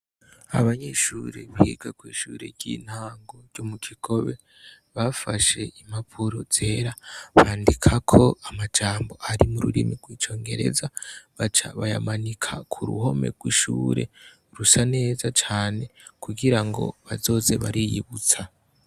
Abanyeshure biga kwishure ryintango ryo mukigobe bafashe impapuro zera bandikako amajambo ari mururimi rw' icongereza baca bayamanika kuruhome rwishure rusa neza cane kugirango bazoze bariyibutsa.